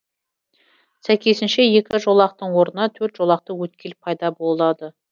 сәйкесінше екі жолақтың орнына төрт жолақты өткел пайда болады